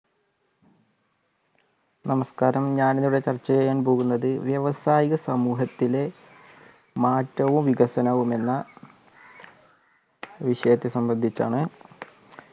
നമസ്ക്കാരം ഞാൻ ഇന്നിവിടെ ചർച്ച ചെയ്യാൻ പോകുന്നത് വ്യവസായ സമൂഹത്തിലെ മാറ്റവും വികസനവും എന്ന വിഷയത്തെ സംബന്ധിച്ചാണ്